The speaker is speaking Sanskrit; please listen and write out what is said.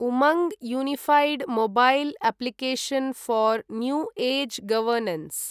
Umang unified mobile application for new age governance